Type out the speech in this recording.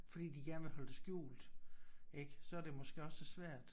Fordi de gerne vil holde det skjult ik så er det måske også svært